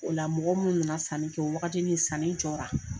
O la mɔgɔ minnu nana sanni kɛ wagatini sanni jɔra.